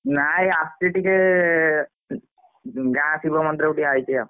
ନାଇଁ ଆସିଛି ଟିକେ ଗାଁ ଶିବ ମନ୍ଦିରକୁ ଆଇଛି ଆଉ।